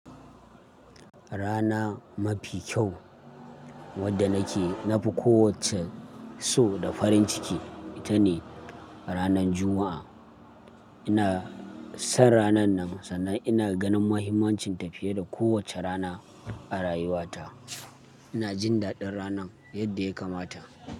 Rana mafi kyau wadda nake nafi kowacce so da farin ciki, ita ne ranan Juma'a. Ina son ranan nan, sannan ina ganin muhimmancin ta fiye da kowacce rana a rayuwata. Ina jin daɗin ranan yadda ya kamata.